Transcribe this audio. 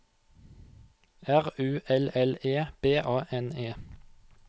R U L L E B A N E